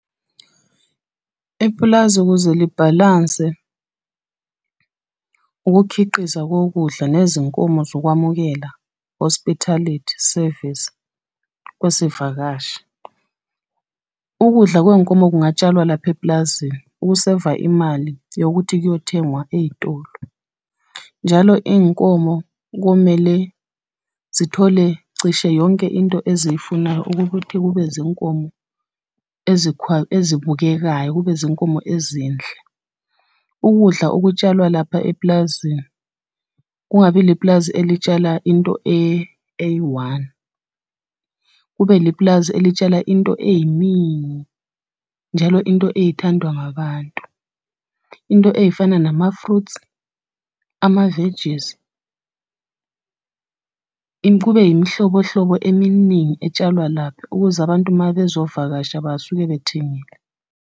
Ipulazi ukuze libhalanse, ukukhiqiza kokudla nezinkomo zokwamukela hospitality service, kwezivakashi. Ukudla kwey'nkomo kungatshalwa lapha epulazini ukuseva imali yokuthi kuyothengwa ey'tolo. Njalo iy'nkomo komele zithole cishe yonke into eziyifunayo eyokuthi kube zinkomo ezibukekayo, kube zinkomo ezinhle. Ukudla okutshalwa lapha epulazini, kungabi lipulazi elitshala into eyi-one, kube lipulazi elitshala into ey'ningi, njalo into ey'thandwa ngabantu. Into ey'fana nama-fruits, ama-veggies. Kube yimihlobohlobo eminingi etshalwa lapha, ukuze abantu mabezovakasha basuke bethengile.